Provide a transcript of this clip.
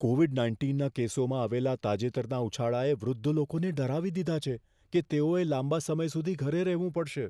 Covid નાઇન્ટીનના કેસોમાં આવેલા તાજેતરના ઉછાળાએ વૃદ્ધ લોકોને ડરાવી દીધા છે કે તેઓએ લાંબા સમય સુધી ઘરે રહેવું પડશે.